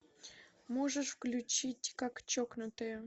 можешь включить как чокнутые